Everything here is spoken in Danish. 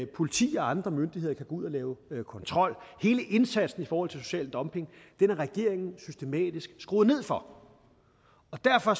politi og andre myndigheder kan gå ud og lave kontrol hele indsatsen i forhold til social dumping har regeringen systematisk skruet ned for derfor